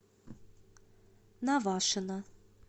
навашино